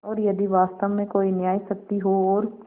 और यदि वास्तव में कोई न्यायशक्ति हो और